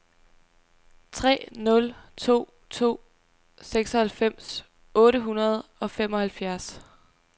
tre nul to to seksoghalvfems otte hundrede og femoghalvfjerds